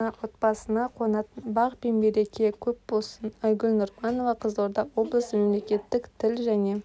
ғана отбасысына қонатын бақ пен береке көп болсын айгүл нұрманова қызылорда облысы мемлекеттік тіл және